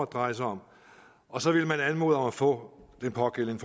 dreje sig om og så ville man anmode om at få den pågældende